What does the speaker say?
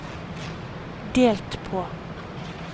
delt på